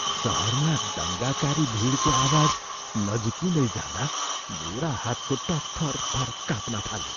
सहरमा दङ्गाकारी भिडको आवाज नजिकिँदै जाँदा मेरा हातखुट्टा थरथर काँप्न थाले।